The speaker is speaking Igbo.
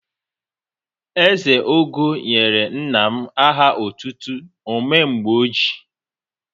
Ezeogo nyere nna m aha ọtụtụ "o mee mgbe o ji'.